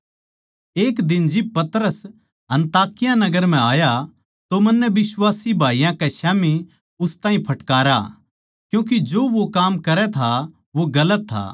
एक दिन जिब पतरस अन्ताकिया नगर म्ह आया तो मन्नै बिश्वासी भाईयाँ के स्याम्ही उस ताहीं फटकारा क्यूँके जो वो काम करै था वो गलत था